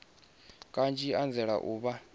kanzhi vha anzela u vha